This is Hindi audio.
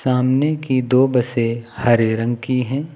आमने की दो बसें हरे रंग की हैं।